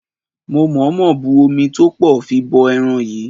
Mo mọ̀ọ́mọ̀ bu omi tó pọ̀ fi bọ ẹran yìí.